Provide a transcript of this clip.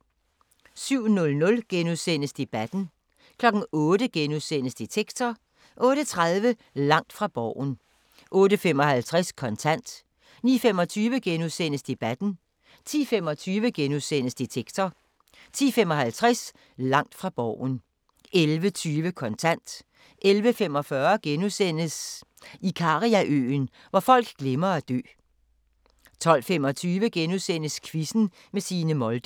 07:00: Debatten * 08:00: Detektor * 08:30: Langt fra Borgen 08:55: Kontant 09:25: Debatten * 10:25: Detektor * 10:55: Langt fra Borgen 11:20: Kontant 11:45: Ikariaøen – hvor folk glemmer at dø * 12:25: Quizzen med Signe Molde *